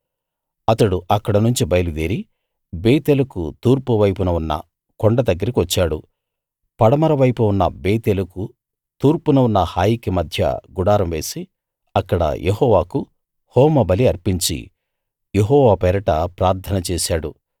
అతడు అక్కడనుంచి బయలుదేరి బేతేలుకు తూర్పువైపు ఉన్న కొండ దగ్గరికి వచ్చాడు పడమర వైపు ఉన్న బేతేలుకు తూర్పున ఉన్న హాయికి మధ్య గుడారం వేసి అక్కడ యెహోవాకు హోమబలి అర్పించి యెహోవా పేరట ప్రార్థన చేశాడు